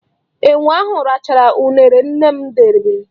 Enwe ahụ rachara uṅere nne m debere.